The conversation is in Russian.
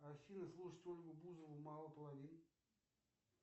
афина слушать ольгу бузову мало половин